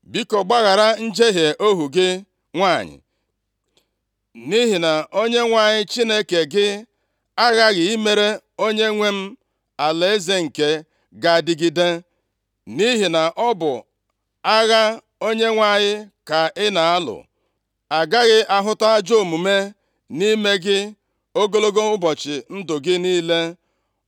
“Biko, gbaghara njehie ohu gị nwanyị, nʼihi na Onyenwe anyị Chineke gị aghaghị imere onyenwe m alaeze nke ga-adịgide, nʼihi na ọ bụ agha Onyenwe anyị ka ị na-alụ, agaghị ahụta ajọ omume nʼime gị ogologo ụbọchị ndụ gị niile.